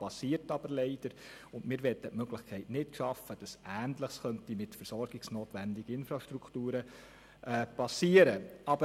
Aber es geschieht, und wir möchten die Möglichkeit nicht schaffen, dass Ähnliches mit versorgungsnotwendiger Infrastruktur geschehen könnte.